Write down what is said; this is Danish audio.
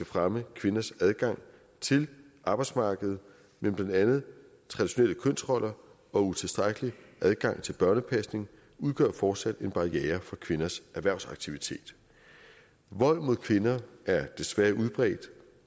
fremme kvinders adgang til arbejdsmarkedet men blandt andet traditionelle kønsroller og utilstrækkelig adgang til børnepasning udgør fortsat en barriere for kvinders erhvervsaktivitet vold mod kvinder er desværre